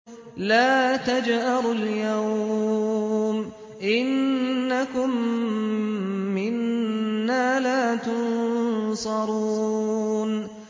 لَا تَجْأَرُوا الْيَوْمَ ۖ إِنَّكُم مِّنَّا لَا تُنصَرُونَ